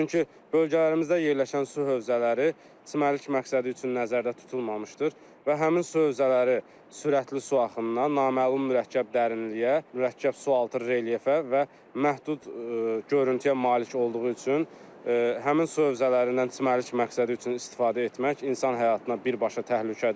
Çünki bölgələrimizdə yerləşən su hövzələri çimərlik məqsədi üçün nəzərdə tutulmamışdır və həmin su hövzələri sürətli su axınına, naməlum mürəkkəb dərinliyə, mürəkkəb sualtı relyefə və məhdud görüntüyə malik olduğu üçün həmin su hövzələrindən çimərlik məqsədi üçün istifadə etmək insan həyatına birbaşa təhlükədir.